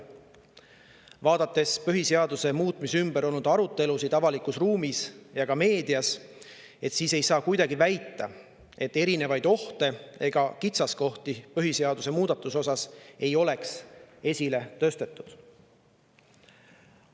Vaadates põhiseaduse muutmise ümber avalikus ruumis ja ka meedias olnud arutelusid, ei saa kuidagi väita, nagu põhiseaduse muudatuse erinevaid ohte ega kitsaskohti ei oleks esile tõstetud.